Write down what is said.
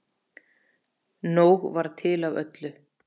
Nóg var til af öllu.